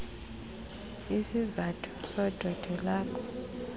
izizathu zondwendwe lwakho